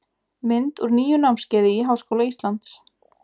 mynd úr nýju námskeiði í háskóla íslands